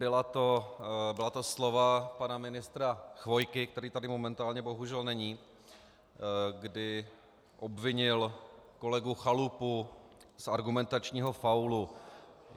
Byla to slova pana ministra Chvojky, který tady momentálně bohužel není, kdy obvinil kolegu Chalupu z argumentačního faulu.